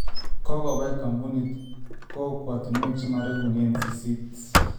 Kokobai koombunit kookwatinwek chemaregunen sisiit